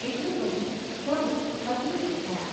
’ એટલું કહી પ્રભુ અદૃશ્ય થયા.